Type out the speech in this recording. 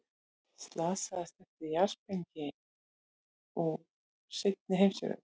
Slasaðir eftir jarðsprengju úr seinni heimsstyrjöld